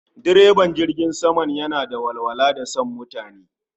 Direban jirgin sama yana da walwala da san mutani